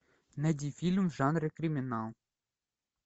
найди фильм в жанре криминал